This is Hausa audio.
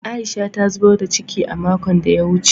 Aisha ta zubar da ciki a makon da ya wuce